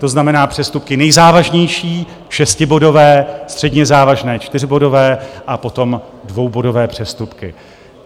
To znamená přestupky nejzávažnější - šestibodové, středně závažné - čtyřbodové, a potom dvoubodové přestupky.